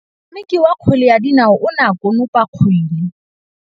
Motshameki wa kgwele ya dinaô o ne a konopa kgwele.